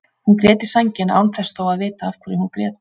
Hún grét í sængina án þess þó að vita af hverju hún grét.